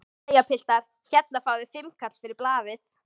Jæja piltar, hérna fáið þið fimmkall fyrir blaðið!